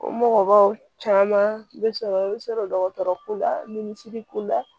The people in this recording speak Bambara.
O mɔgɔbaw caman bɛ sɔrɔ i bɛ sɔrɔ dɔgɔtɔrɔ ko la minisiriko la